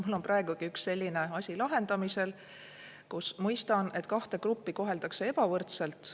Mul on praegugi üks selline asi lahendamisel, mille puhul ma mõistan, et kahte gruppi koheldakse ebavõrdselt.